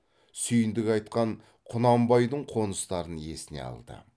сүйіндік айтқан құнанбайдың қоныстарын есіне алды